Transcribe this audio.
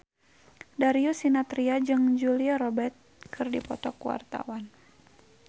Darius Sinathrya jeung Julia Robert keur dipoto ku wartawan